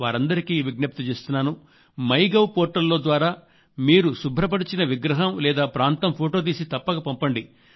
వారందరికీ విజ్ఞప్తి చేస్తున్నాను మైగవ్ పోర్టల్ ద్వారా మీరు శుభ్రపరిచిన విగ్రహం లేదా ప్రాంతం ఫొటో తీసి తప్పక పంపండి